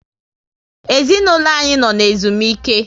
Ezinaụlọ anyị no ezumike